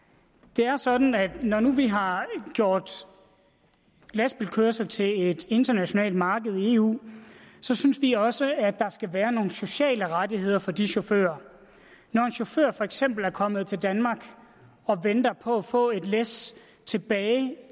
det er sådan at når nu vi har gjort lastbilkørsel til et internationalt marked i eu så synes vi også at der skal være nogle sociale rettigheder for de chauffører når en chauffør for eksempel er kommet til danmark og venter på at få et læs tilbage